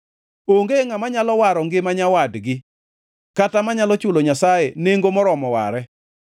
Onge ngʼama nyalo waro ngima nyawadgi kata manyalo chulo Nyasaye nengo moromo ware.